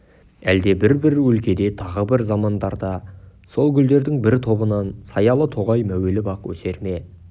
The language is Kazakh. әлде бір-бір өлкеде тағы бір замандарда сол гүлдердің бір тобынан саялы тоғай мәуелі бақ өсер ме